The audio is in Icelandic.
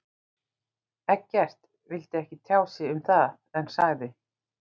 Eggert vildi ekki tjá sig um það en sagði.